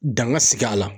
Danga sigi a la